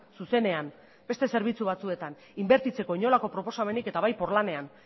zuzenean beste zerbitzu batzuetan inbertitzeko inolako proposamenik eta bai porlanean